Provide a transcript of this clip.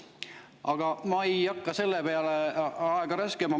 Aga ma ei hakka selle peale aega raiskama.